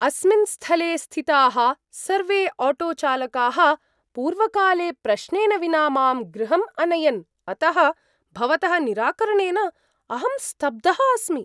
अस्मिन् स्थले स्थिताः सर्वे आटोचालकाः पूर्वकाले प्रश्नेन विना मां गृहम् अनयन्, अतः भवतः निराकरणेन अहं स्तब्धः अस्मि ।